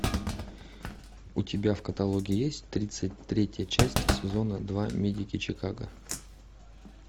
у тебя в каталоге есть тридцать третья часть сезона два медики чикаго